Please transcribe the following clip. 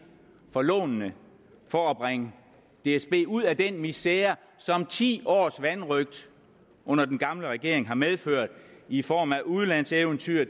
for lånene for at bringe dsb ud af den misere som ti års vanrøgt under den gamle regering har medført i form af udenlandseventyr